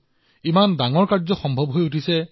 এই সহকৰ্মীসকলৰ কাৰণে এই মহান কামটো সম্ভৱ হৈছে